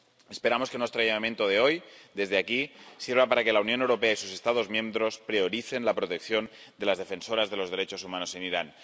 Esperamos que nuestro llamamiento de hoy, desde aquí, sirva para que la Unión Europea y sus Estados miembros prioricen la protección de las defensoras de los derechos humanos en Irán.